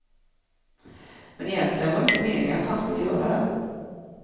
Men egentligen var det inte meningen att han skulle göra den.